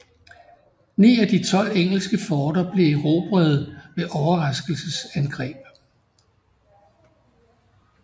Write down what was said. Ni af de tolv engelske forter blev erobrede ved overraskelsesangreb